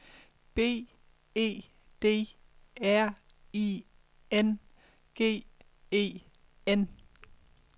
B E D R I N G E N